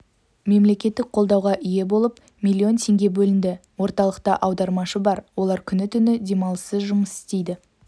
мемлекеттік қолдауға ие болып миллион теңге бөлінді орталықта аудармашы бар олар күні-түні демалыссыз жұмыс істейді